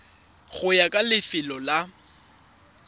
go ya ka lefelo la